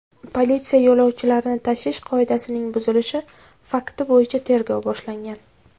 Politsiya yo‘lovchilarni tashish qoidasining buzilishi fakti bo‘yicha tergov boshlagan.